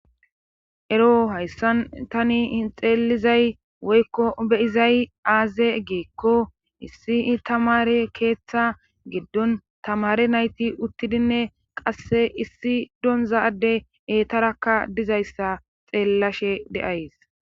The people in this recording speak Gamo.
ero hayssan tani hin xeelizay woykko beyizay aaze geekko issi tamare keeththa giddon tamare nayti uttidinne qasse issi donzadde eetarakka dizayssa xeellashe de7ays